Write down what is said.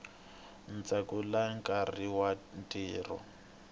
ndzhaku ka nkarhi wa ntirho